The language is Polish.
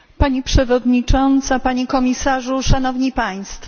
Pani Przewodnicząca, Panie Komisarzu, Szanowni Państwo!